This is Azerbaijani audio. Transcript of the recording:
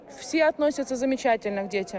Hər kəs uşaqlara gözəl münasibət göstərir.